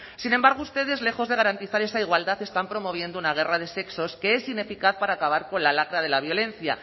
sin embargo ustedes lejos de garantizar esa igualdad están promoviendo una guerra de sexos que es ineficaz para acabar con la lacra de la violencia